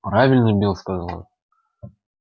правильно билл сказал